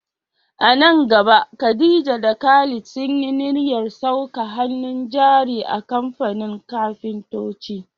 A nan gaba Khadija da Khalid sun yi niyyar saka hannun jari a kamfanin kafintoci.